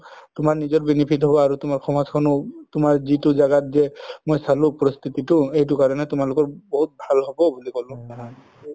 তুমাৰ নিজৰ benefit হব আৰু তুমাৰ সমাজখ্নও তুমাৰ যিতো জাগাত যে মই চালো পৰিস্থিতিতো এইটো কাৰণে তোমালোকৰ বহুত ভাল হব বুলি কলো